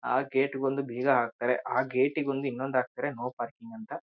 ಆ ಗೇಟ್ಗೊಂದು ಬಿಗ ಹಾಕ್ತಾರೆ ಆ ಗೇಟಿಗೆ ಒಂದು ಇನ್ನೂದು ಹಾಕ್ತಾರೆ ನೋ ಪಾರ್ಕಿಂಗ್ ಅಂತ.